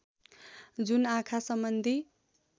जुन आँखा सम्बन्धी